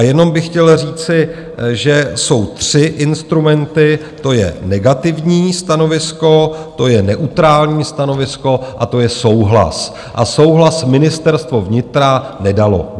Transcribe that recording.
A jenom bych chtěl říci, že jsou tři instrumenty - to je negativní stanovisko, to je neutrální stanovisko a to je souhlas, a souhlas Ministerstvo vnitra nedalo.